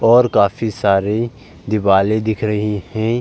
और काफी सारे दिवाले दिख रही हैं।